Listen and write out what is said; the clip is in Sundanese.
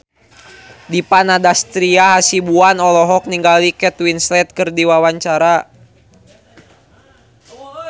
Dipa Nandastyra Hasibuan olohok ningali Kate Winslet keur diwawancara